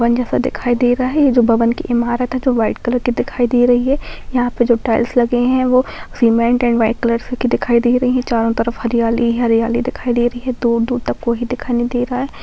One जैसा दिखाई दे रहा है ये जो भवन की इमारत है जो वाइट कलर की दिखाई दे रही है यहाँ पे जो टाइल्स लगे हैं वो सीमेंट एंड वाइट कलर की दिखाई दे रही है चारों तरफ हरियाली ही हरियाली दिखाई दे रही है दूर-दूर तक कोइ दिखाई नहीं दे रहा है।